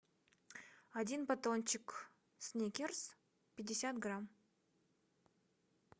один батончик сникерс пятьдесят грамм